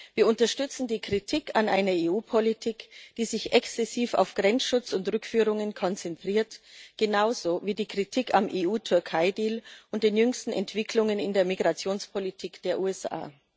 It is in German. Wir unterstützen die Kritik an einer EU Politik, die sich exzessiv auf Grenzschutz und Rückführungen konzentriert, genauso wie die Kritik am EU Türkei Deal und den jüngsten Entwicklungen in der Migrationspolitik der USA.